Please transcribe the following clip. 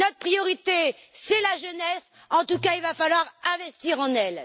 Notre priorité, c'est la jeunesse et en tout cas, il va falloir investir en elle.